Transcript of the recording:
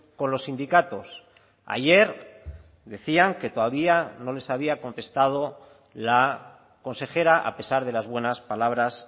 con los sindicatos ayer decían que todavía no les había contestado la consejera a pesar de las buenas palabras